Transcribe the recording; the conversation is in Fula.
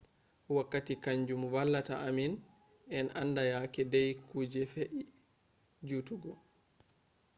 wakkati kanjum vallata ammin en anda yake dai kuje fe'i juutugo